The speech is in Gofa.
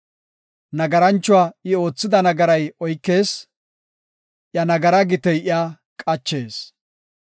Nagaranchuwa I oothida nagaray oykees; Iya nagaraa gitey iya qachees.